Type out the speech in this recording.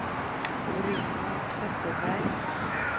Bruno Zetterberg